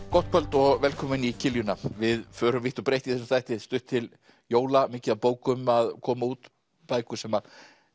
gott kvöld og velkomin í við förum vítt og breitt í þessum þætti stutt til jóla mikið af bókum að koma út bækur sem